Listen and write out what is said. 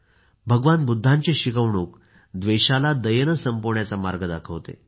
भगवान बुद्धांची शिकवणूक द्वेषाला दयेने संपवण्याचा मार्ग दाखवते